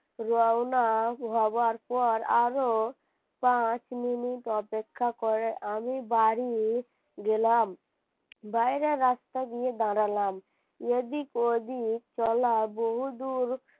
রওনা হবার পর আরও পাঁচ মিনিট অপেক্ষা করে আমি বাড়ি গেলাম। বাইরে রাস্তা দিয়ে দাড়ালাম এদিক ওদিক তলা বহুদূর